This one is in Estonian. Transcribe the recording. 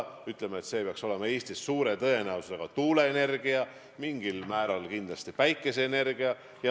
Me ütleme, et väljapääs peaks Eestis suure tõenäosusega olema tuuleenergia, mingil määral kindlasti ka päikeseenergia.